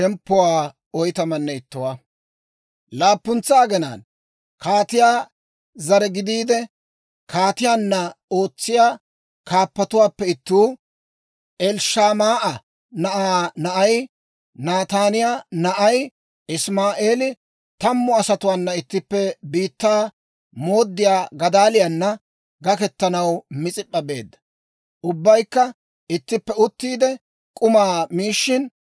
Laappuntsa aginaan kaatiyaa zare gidiide, kaatiyaanna ootsiyaa kaappatuwaappe ittuu, Elishamaa'a na'aa na'ay, Nataaniyaa na'ay Isimaa'eeli tammu asatuwaana ittippe biittaa mooddiyaa Gadaaliyaana gakketanaw Mis'ip'p'a beedda. Ubbaykka ittippe uttiide k'umaa miishshin,